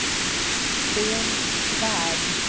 Sten Svärd